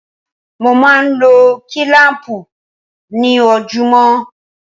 Mo máa ń lo kílám̀pù ni ojoojúmọ́.